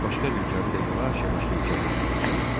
Başqa bir gəmi də yavaş-yavaş yelkənlərini açırdı.